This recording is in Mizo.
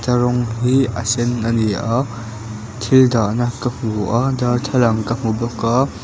a rawng hi a sen ani a thil dah na ka hmu a darthlalang ka hmu bawk a.